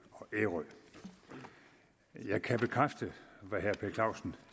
og ærø jeg kan bekræfte hvad herre per clausen